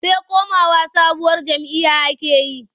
Sai komawa sabuwar jam'iyya ake yi.